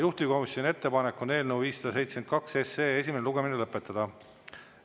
Juhtivkomisjoni ettepanek on eelnõu 572 esimene lugemine lõpetada.